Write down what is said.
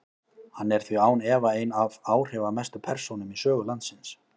Hann er því án efa ein af áhrifamestu persónum í sögu landsins.